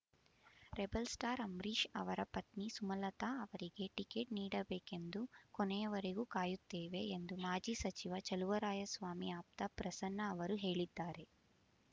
rebel star Ambareesh ಅವರ ಪತ್ನಿ ಸುಮಲತಾ ಅವರಿಗೆ ಟಿಕೆಟ್ ನೀಡಬೇಕೆಂದು ಕೊನೆಯವರೆಗೂ ಕಾಯುತ್ತೇವೆ ಎಂದು ಮಾಜಿ ಸಚಿವ ಚೆಲುವರಾಯಸ್ವಾಮಿ ಆಪ್ತ ಪ್ರಸನ್ನ ಅವರು ಹೇಳಿದ್ದಾರೆ